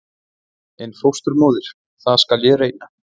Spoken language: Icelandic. En fósturmóðir- það skal ég reyna.